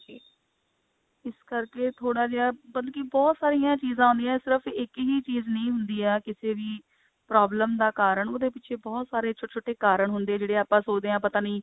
ਇਸ ਕਰਕੇ ਥੋੜਾ ਜਿਹਾ ਮਤਲਬ ਕਿ ਬਹੁਤ ਸਾਰੀਆਂ ਚੀਜਾਂ ਆਉਂਦੀਆਂ ਸਿਰਫ ਇੱਕ ਹੀ ਚੀਜ਼ ਨਹੀਂ ਹੁੰਦੀ ਹੈ ਕਿਸੇ ਵੀ problem ਦਾ ਕਾਰਣ ਉਹਦੇ ਪਿਛੇ ਬਹੁਤ ਸਾਰੇ ਛੋਟੇ ਛੋਟੇ ਕਾਰਣ ਹੁੰਦੇ ਆ ਜਿਹੜੇ ਆਪਾਂ ਸੋਚਦੇ ਹਾਂ ਪਤਾ ਨਹੀਂ